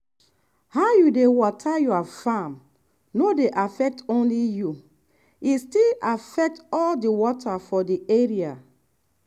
how you dey water your farm no dey affect only you e still affect all the water for the area.